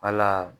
Wala